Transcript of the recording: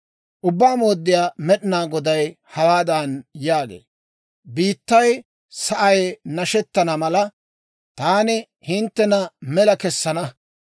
Ubbaa Mooddiyaa Med'inaa Goday hawaadan yaagee; «Biittay sa'ay nashettana mala, taani hinttena mela kessana.